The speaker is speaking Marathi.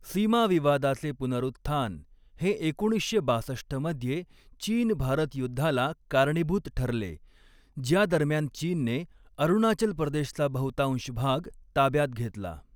सीमा विवादाचे पुनरुत्थान हे एकोणीसशे बासष्ट मध्ये चीन भारत युद्धाला कारणीभूत ठरले, ज्या दरम्यान चीनने अरुणाचल प्रदेशचा बहुतांश भाग ताब्यात घेतला.